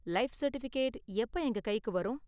Life certificate எப்ப எங்க கைக்கு வரும்?